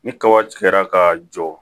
Ni kaba kɛra ka jɔ